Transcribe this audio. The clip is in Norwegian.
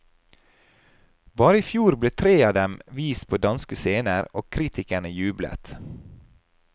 Bare i fjor ble tre av dem vist på danske scener, og kritikerne jublet.